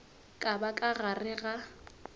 ka ba ka gare ga